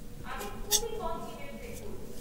আমি খুবই কম ইমেল চেক করি।